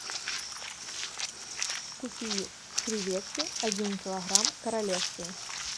купи креветки один килограмм королевские